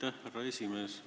Aitäh, härra esimees!